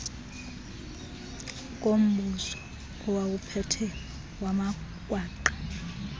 kombuso owawuphethe wamagwangqa